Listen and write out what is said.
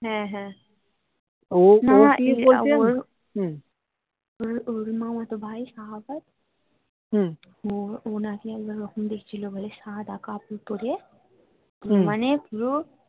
হ্যা হ্যা ওর মামাতো ভাই শাহাদাত ও ও নাকি একবার ওরকম দেখেছিলো বলে সাদা কাপড় পরে মানে পুরো